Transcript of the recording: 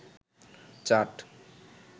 chaat